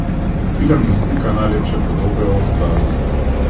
Film ne slika najlepše podobe o Avstraliji.